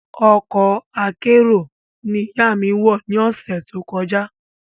Ọkọ̀ akérò ní ìyá mí wọ ni ọ̀sẹ̀ tó kọjá